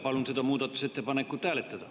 Palun seda muudatusettepanekut hääletada.